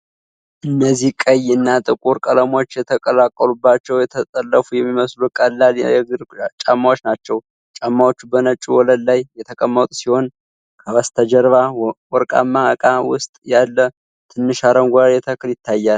እነዚህ ቀይ እና ጥቁር ቀለሞች የተቀላቀሉባቸው፣ የተጠለፉ የሚመስሉ ቀላል የእግር ጫማዎች ናቸው። ጫማዎቹ በነጭ ወለል ላይ የተቀመጡ ሲሆን፣ ከበስተጀርባ በወርቃማ እቃ ውስጥ ያለ ትንሽ አረንጓዴ ተክል ይታያል።